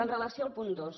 amb relació al punt dos